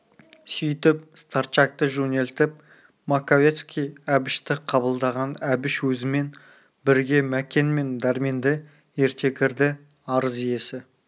сөйтіп старчакты жөнелтіп маковецкий әбішті қабылдаған әбіш өзімен бірге мәкен мен дәрменді ерте кірді арыз иесі